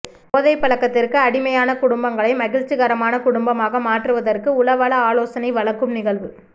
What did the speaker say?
போதை பழக்கத்திற்கு அடிமையான குடும்பங்களை மகிழ்ச்சிகரமான குடும்பமாக மாற்றுவதற்கான உளவள ஆலோசனை வழங்கும் நிகழ்வு